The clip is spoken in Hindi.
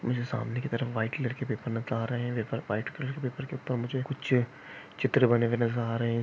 मुझे सामने की तरफ व्हाइट कलर का पेपर नत आ रहे हैं पेपर व्हाइट कलर पेपर के ऊपर मुझे कुछ चित्र बने हुए नजर आ रहे हैं।